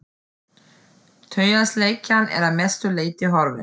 Taugaslekjan er að mestu leyti horfin.